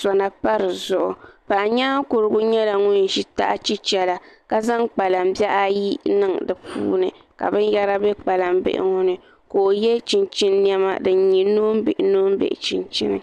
sona pa dizuɣu paɣa nyaankurigu nyɛla ŋun ʒi taha chichɛla ka zaŋ kpalaŋ bihi ayi n niŋ di puuni ka binyɛra bɛ kpalan bihi ŋo ni ka o yɛ chinchin niɛma din nyɛ noonbihi noon bihi chinchini